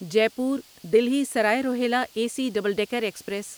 Jaipur Delhi Sarai Rohilla A C double decker express